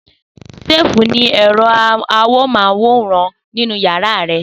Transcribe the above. Safe ní ẹ̀rọ amóhùnmáwòrán nínú yàrá rẹ̀